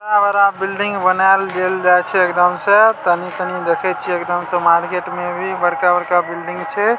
इतना बड़ा बिल्डिंग बनाएल गेल जाए छे एकदम से तनी-तनी देखई छी एकदम से मार्केट में भी बड़का-बड़का बिल्डिंग छे।